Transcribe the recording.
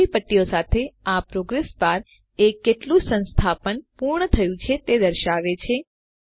લીલી પટ્ટીઓ સાથેનું આ પ્રોગ્રેસ પ્રગતિ બાર એ કેટલું સંસ્થાપન પૂર્ણ થયું છે તે દર્શાવે છે